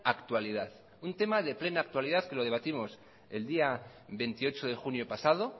actualidad un tema de plena actualidad que lo debatimos el día veintiocho de junio pasado